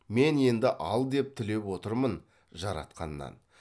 мен енді ал деп тілеп отырмын жаратқаннан